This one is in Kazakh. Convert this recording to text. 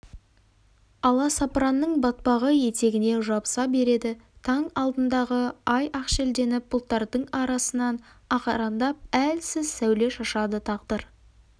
аласапыранның батпағы етігіне жабыса береді таң алдындағы ай ақшелденіп бұлттардың арасынан ағараңдап әлсіз сәуле шашады тағдыр